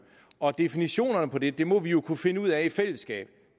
og definitionerne på det det må vi jo kunne finde ud af i fællesskab